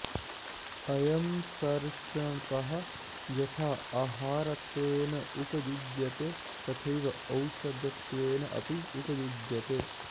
अयं सर्षपः यथा आहारत्वेन उपयुज्यते तथैव औषधत्वेन अपि उपयुज्यते